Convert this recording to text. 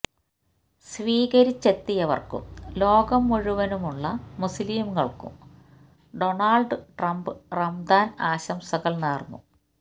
സ്വീകരിച്ചെത്തിയവർക്കും ലോകം മുഴുവനുമുള്ള മുസ്ലിംകൾക്കും ഡൊണാൾഡ് ട്രംപ് റമദാൻ ആശംസകൾ നേർന്നു